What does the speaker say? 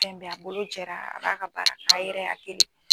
Fɛn bɛɛ a bolo jɛra ab'a ka baara k'a yɛrɛ ye a kelen